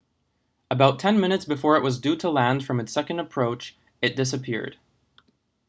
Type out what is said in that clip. about ten minutes before it was due to land from its second approach it disapeared